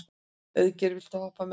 Auðgeir, viltu hoppa með mér?